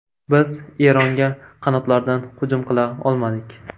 Biz Eronga qanotlardan hujum qila olmadik.